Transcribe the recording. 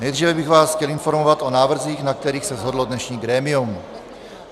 Nejdříve bych vás chtěl informovat o návrzích, na kterých se shodlo dnešní grémium.